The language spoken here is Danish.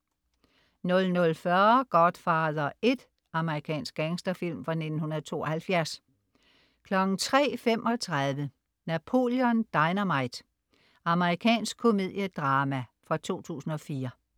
00.40 Godfather I. Amerikansk gangsterfilm fra 1972 03.35 Napoleon Dynamite. Amerikansk komedie-drama fra 2004